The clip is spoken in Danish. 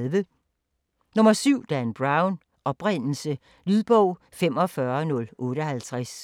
7. Brown, Dan: Oprindelse Lydbog 45058